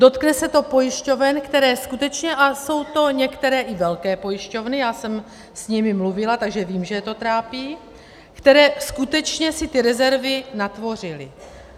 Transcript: Dotkne se to pojišťoven, které skutečně, a jsou to některé i velké pojišťovny, já jsem s nimi mluvila, takže vím, že je to trápí, které skutečně si ty rezervy natvořily.